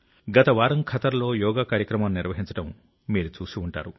గత వారం ఖతర్లో యోగా కార్యక్రమం నిర్వహించడం మీరు చూసి ఉంటారు